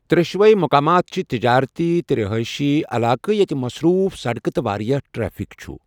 ترٛشوٕے مقامات چھِ تجٲرتی تہٕ رہٲئشی علاقہٕ یتیٚہِ مصروٗف سڑکہٕ تہٕ واریٛاہ ٹریفک چھُ۔